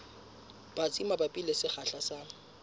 batsi mabapi le sekgahla sa